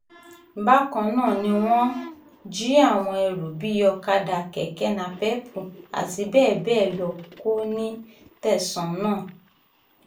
bákan náà ni wọ́n jí àwọn ẹrú bíi ọ̀kadà kẹ̀kẹ́ napéépù àti bẹ́ẹ̀ bẹ́ẹ̀ lọ kó nínú tẹ̀sán náà